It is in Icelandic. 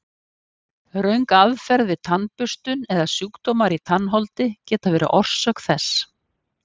Röng aðferð við tannburstun eða sjúkdómar í tannholdi geta verið orsök þess.